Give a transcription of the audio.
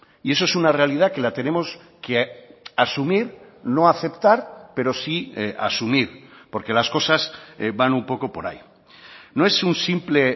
y eso es una realidad que la tenemos que asumir no aceptar pero sí asumir porque las cosas van un poco por ahí no es un simple